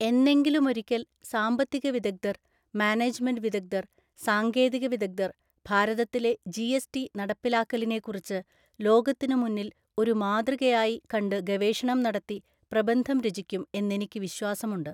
എന്നെങ്കിലുമൊരിക്കല്‍ സാമ്പത്തിക വിദഗ്ധര്‍, മാനേജ്മെന്റ് വിദഗ്ധര്‍, സാങ്കേതികവിദഗ്ധര്‍ ഭാരതത്തിലെ ജിഎസ്ടി നടപ്പിലാക്കലിനെക്കുറിച്ച് ലോകത്തിനുമുന്നില് ഒരു മാതൃകയായി കണ്ട് ഗവേഷണം നടത്തി പ്രബന്ധം രചിക്കും എന്നെനിക്ക് വിശ്വാസമുണ്ട്.